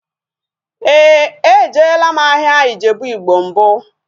Éè, ejela m ahịa Ijebu igbo mbụ